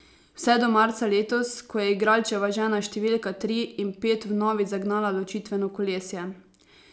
Vse do marca letos, ko je igralčeva žena številka tri in pet vnovič zagnala ločitveno kolesje.